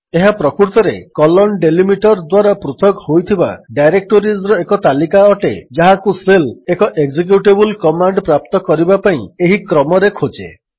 ଏହା ପ୍ରକୃତରେ160 colon delimiter ଦ୍ୱାରା ପୃଥକ ହୋଇଥିବା ଡାଇରେକ୍ଟୋରିଜ୍ର ଏକ ତାଲିକା ଅଟେ ଯାହାକୁ ଶେଲ୍ ଏକ ଏକ୍ଜେକ୍ୟୁଟେବଲ୍ କମାଣ୍ଡ୍ ପ୍ରାପ୍ତ କରିବା ପାଇଁ ଏହି କ୍ରମରେ ଖୋଜେ